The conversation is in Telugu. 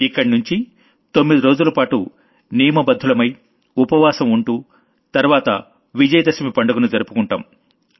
ఇక్కడ్నుంచి తొమ్మిది రోజులపాటు నియమబద్ధులమై ఉపవాసం ఉంటూ తర్వాత విజయ దశమి పండుగను జరుపుకుంటాం